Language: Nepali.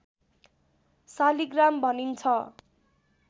शालिग्राम भनिन्छ